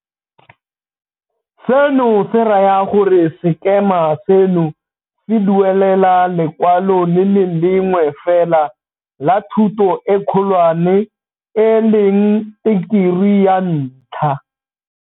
Seno se raya gore sekema seno se duelela lekwalo le le lengwe fela la thuto e kgolwane e leng Tekerii ya Ntlha.